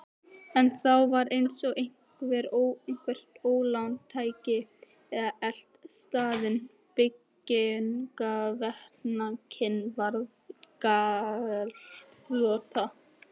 En þá var eins og eitthvert ólán tæki að elta staðinn: Byggingaverktakinn varð gjaldþrota.